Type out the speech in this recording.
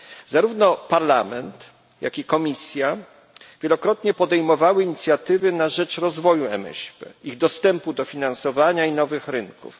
Zarówno Parlament, jak i Komisja wielokrotnie podejmowały inicjatywy na rzecz rozwoju MŚP, ich dostępu do finansowania i nowych rynków.